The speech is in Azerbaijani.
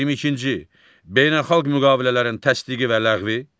22-ci beynəlxalq müqavilələrin təsdiqi və ləğvi.